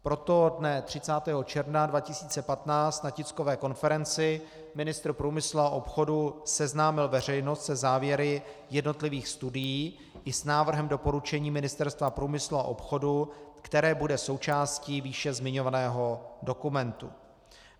Proto dne 30. června 2015 na tiskové konferenci ministr průmyslu a obchodu seznámil veřejnost se závěry jednotlivých studií i s návrhem doporučení Ministerstva průmyslu a obchodu, které bude součástí výše zmiňovaného dokumentu.